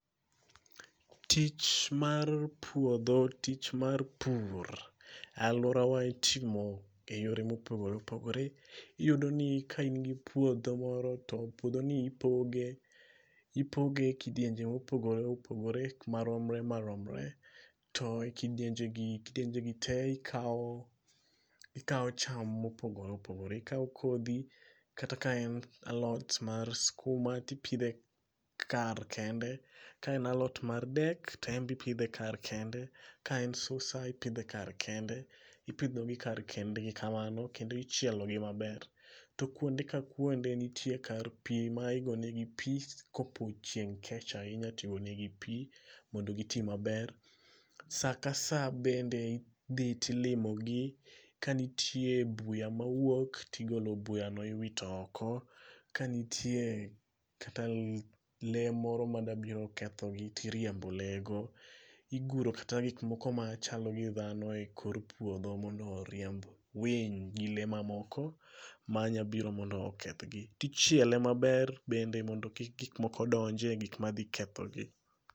Tich mar puodho tich mar pur alworawa itimo e yore mopogore opogore. Iyudo ni ka in gi puodho moro to puodhoni ipoge e kidienje mopogore opogore maromre maromre to kidienjegi, kidienjegi te ikawo cham mopogore opogore ikawo kodhi kata ka en alot mar skuma tipidhe kar kende ka en alot mar dek to en be ipidhe kar kende, ka en susa ipidhe kar kende. Ipidhogi kar kendgi kamano kendo ichielogi maber. To kuonde ka kuonde nitie kar pi ma igonegi pi kopo chieng' kech ahinya tigonegi pi mondo giti maber. Sa ka sa bende idhi tilimogi kanitie buya mawuok tigolo buyano iwito oko, kanitie kata lee moro madabiro kethogi tiriembo lee go. Iguro kata gikmoko madachalo gi dhano e kor puodho mondo oriemb winy gi lee mamoko manyabiro mondo okethgi. Tichiele maber bende mondo kik gikmoko donje gikma dhi kethogi.